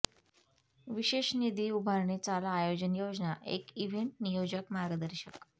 विशेष निधी उभारणी चाला आयोजन योजना एक इव्हेंट नियोजक मार्गदर्शक